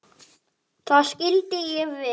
Það skildi ég vel.